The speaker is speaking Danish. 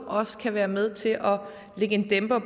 også kan være med til at lægge en dæmper